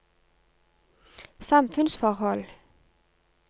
samfunnsforhold